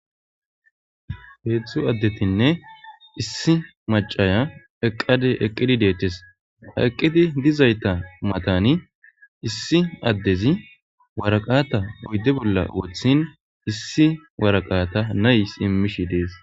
Heedzdzu addetinne issi macIya eqade eqqidi deethtes eqqidi dizayta matani issi addezi waraqata oyde bolla wothin issi waraqata nays immish dees.